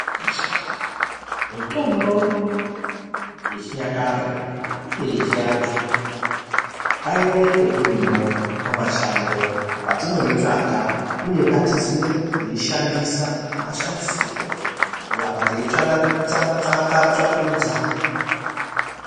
Mitombo yechinyakare iyo yechiantu ngaionekwe irimwo mumashango patinoitsvaka uye ngatiziye kuishandisa nemashandisirwo kuramba teitsvakurudza.